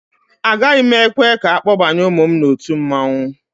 Agaghị m ekwe ka akpọbaye ụmụ m n'otu mmanwụ